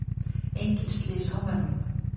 Engin slys á mönnum.